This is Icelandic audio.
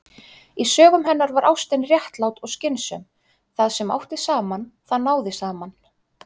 Í sögum hennar var ástin réttlát og skynsöm: Það sem átti saman- það náði saman.